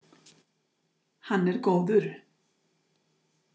Hann er góður.